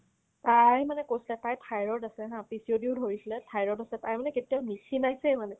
তাই মানে কৈছিলে তাইৰ thyroid আছে haa PCOD ধৰিছিলে thyroid আছে তাইৰ মানে কেতিয়াও নিক্ষীণাইছে মানে